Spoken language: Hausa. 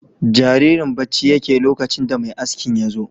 Jaririn bacci yake lokacin da mai askin yazo